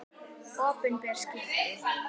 Opinber skipti